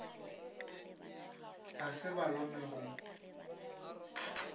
a se ba lome go